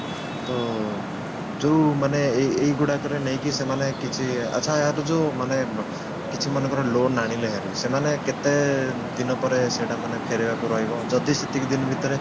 ତ ଯଉ ମାନେ ଏଇ ଏଇ ଗୁଡାକରେ ନେଇକି ସେମାନେ କିଛି ଆଛା ଆର ଯଉ ମାନେ କିଛି ମନେକର loan ଆଣିଲେ ହେରି ସେମାନେ କେତେଦିନ ପରେ ସେଟା ମାନେ ଫେରେଇବାକୁ ରହିବ ଯଦି ସେତିକି ଦିନ ଭିତରେ